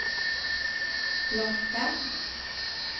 locka